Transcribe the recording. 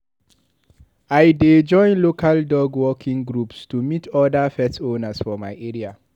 I dey join local dog walking groups to meet other pet owners for my area.